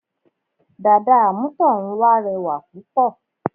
Dàda àmútọ̀runwá rẹwà púpọ̀